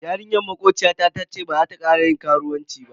Yarinyar makociyata tace baza ta kara yin karuwanci ba.